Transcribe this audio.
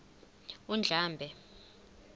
undlambe